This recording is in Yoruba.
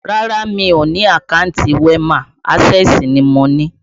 Rárá, mi ò ní àkántì WEMA, ásẹ̀sì ni mo ni